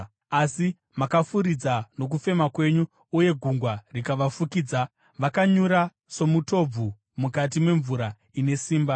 Asi makafuridza nokufema kwenyu, gungwa rikavafukidza. Vakanyura somutobvu mukati memvura ine simba.